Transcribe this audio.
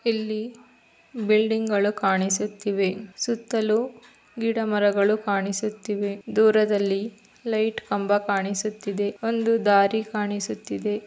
ಇಲ್ಲಿ ಇಲ್ಲಿ ಬಿಲ್ಡಿಂಗಳು ಕಾಣಿಸುತ್ತಿವೆ ಸುತ್ತಲು ಗಿಡಮರಗಳು ಕಾಣಿಸುತಿದೆ ದೂರದಲ್ಲಿ ಲೈಟ್ ಕಂಬ ಕಾಣಿಸಿತು ಇದೆ ಒಂದು ದಾರಿ ಕಾ ನಿಸುತ್ತಿದೆ.